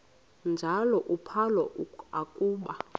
njalo uphalo akuba